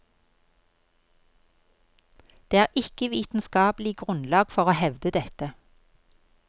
Det er ikke vitenskapelig grunnlag for å hevde dette.